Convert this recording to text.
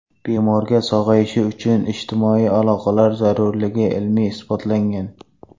Bemorga sog‘ayishi uchun ijtimoiy aloqalar zarurligi ilmiy isbotlangan .